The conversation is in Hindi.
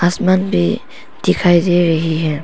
आसमान भी दिखाई दे रही है।